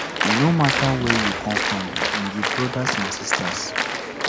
e no mata where you come from we be brodas and sistas